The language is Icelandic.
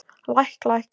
Læk læk.